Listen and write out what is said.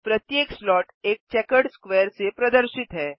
प्रत्येक स्लॉट एक checkered square से प्रदर्शित है